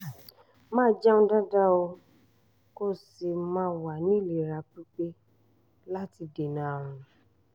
máa jẹun dáadáa kó o sì máa wà ní ìlera pípé láti dènà àrùn